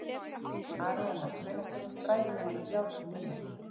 Aríana, hvenær kemur strætó númer þrjátíu og níu?